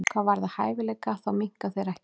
Hvað varðar hæfileika þá minnka þeir ekkert.